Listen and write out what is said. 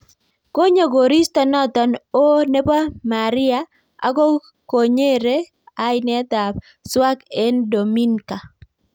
Konyoo koristo notok ooh nebo mariaa Ako konyere ainet ab swag eng dominka.